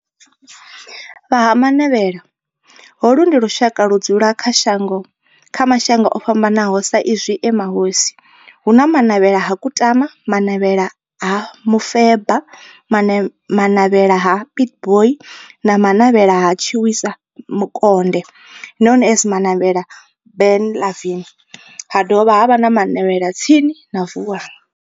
Vha Ha-Manavhela, holu ndi lushaka ludzula kha mashango ofhambanaho sa izwi e mahosi, hu na Manavhela ha Kutama, Manavhela ha Mufeba, Manavhela ha Pietboi na Manavhela ha Tshiwisa Mukonde known as Manavhela Benlavin, ha dovha havha na Manavhela tsini na Vuwani.